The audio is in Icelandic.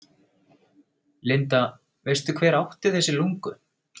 Linda: Veistu hver átti þessi lungu?